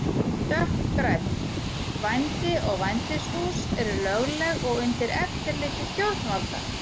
Dökkgrænn: Vændi og vændishús eru lögleg og undir eftirliti stjórnvalda.